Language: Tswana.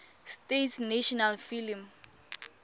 states national film